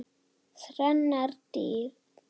Þrennar dyr.